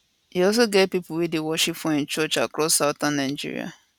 e also get pipo wey dey worship for im church across southern nigeria